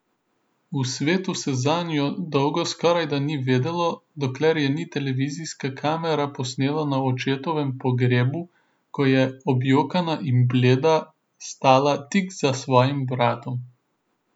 V svetu se zanjo dolgo skorajda ni vedelo, dokler je ni televizijska kamera posnela na očetovem pogrebu, ko je, objokana in bleda, stala tik za svojim bratom.